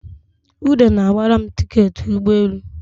Ude na-gbara m tiketị ụgbọelu